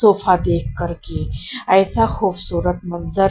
देख कर के ऐसा खूबसूरत मंजर --